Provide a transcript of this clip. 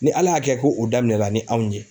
Ni Ala y'a kɛ ko o daminɛla ni anw ye